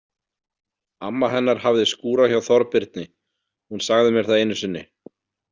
Amma hennar hafði skúrað hjá Þorbirni, hún sagði mér það einu sinni.